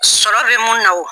Sɔrɔ bɛ mun na o.